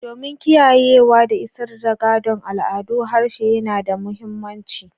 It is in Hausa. Domin kiyayewa da isar da gadon al'adu, harshe yana da mahimmanci.